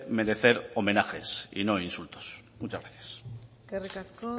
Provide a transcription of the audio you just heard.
merecer homenajes y no insultos muchas gracias eskerrik asko